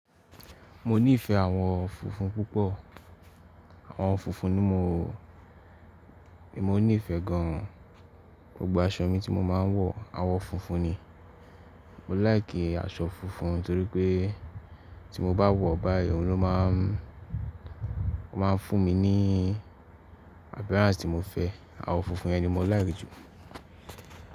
Mo nífẹ̀ẹ́ àwọn funfun púpọ̀, àwọn funfun ni mò, èmo nífẹ̀ẹ́ gan an. Gbogbo aṣọ mi tí mo máa ń wọ̀ àwọ̀ funfun ni. Mọ láì kí aṣọ funfun torí pé tí mo bá wọ̀ báyìí òun ló máa ń, ó máa ń fún mi ní appearance tí mo fẹ́. Àwọ̀ funfun yẹn ni mo láìkí jù.